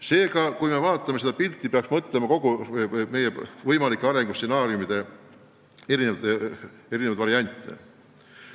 Seega, kui me vaatame seda pilti, peaksime mõtlema võimalike arengustsenaariumide erinevatele variantidele.